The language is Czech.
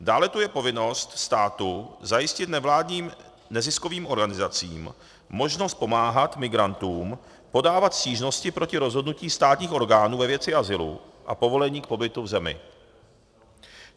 Dále tu je povinnost státu zajistit nevládním neziskovým organizacím možnost pomáhat migrantům podávat stížnosti proti rozhodnutím státních orgánů ve věci azylu a povolení k pobytu v zemi.